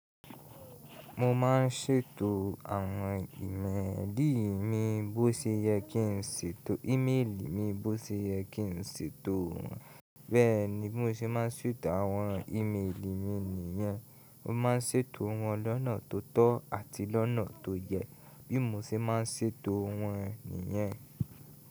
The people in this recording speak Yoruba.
Mo máa ń ṣètò àwọn ìmẹ́ẹ̀lì mi bó ṣe yẹ kí n ṣètò wọ́n. Bẹ́ẹ̀ ni bi mó ṣe máa ń ṣètò àwọn ìmẹ́ẹ̀lì mi nìyẹn. Mo máa ń ṣètò wọ́n lọ́nà tó tọ́ àti lọ́nà tó yẹ, bí mo ṣe máa ń ṣètò wọ́n nìyẹn.